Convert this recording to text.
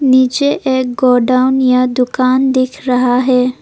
नीचे एक गोडाउन या दुकान दिख रहा है।